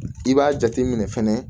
I b'a jate minɛ fɛnɛ